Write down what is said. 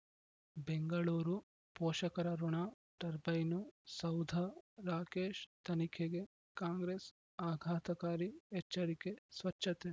ಬೆಂಗಳೂರು ಪೋಷಕರಋಣ ಟರ್ಬೈನು ಸೌಧ ರಾಕೇಶ್ ತನಿಖೆಗೆ ಕಾಂಗ್ರೆಸ್ ಆಘಾತಕಾರಿ ಎಚ್ಚರಿಕೆ ಸ್ವಚ್ಛತೆ